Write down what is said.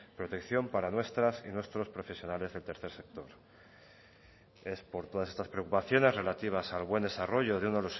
protección para nuestras y nuestros profesionales del tercer sector es por todas estas preocupaciones relativas al buen desarrollo de uno